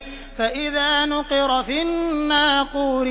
فَإِذَا نُقِرَ فِي النَّاقُورِ